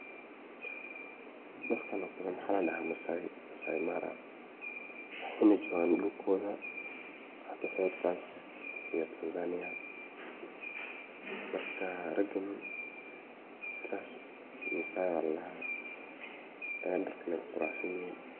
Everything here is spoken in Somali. dadkan oo kale maxa ladhaha maasai, maasai mara waxay na jogaan dhulkooda xaga dhankas iyo tanzania marka raagan maasai ba ladhaha ee dharkan ayay kuquraxsan yihin